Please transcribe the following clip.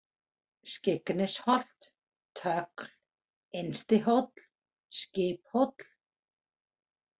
Skyggnisholt, Tögl, Innstihóll, Skiphóll